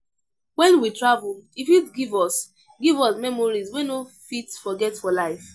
When we travel, e fit give us give us memories wey we no fit forget for life